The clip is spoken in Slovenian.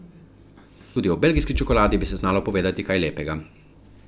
Tudi o belgijski čokoladi bi se znalo povedati kaj lepega.